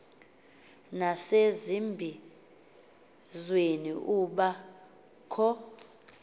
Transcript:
nasezimbizweni kuba kho